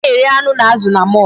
A na-ere anụ na azụ na mall.